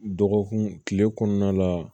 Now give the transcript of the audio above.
Dɔgɔkun kile kɔnɔna la